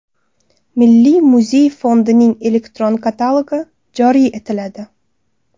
Milliy muzey fondining elektron katalogi joriy etiladi.